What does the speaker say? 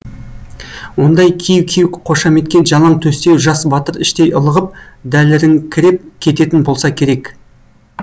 ондай кеу кеу қошаметке жалаң төстеу жас батыр іштей ылығып дәліріңкіреп кететін болса керек